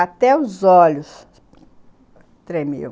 Até os olhos tremiam.